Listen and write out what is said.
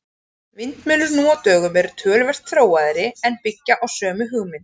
Vindmyllur nú á dögum eru töluvert þróaðri en byggja á sömu hugmynd.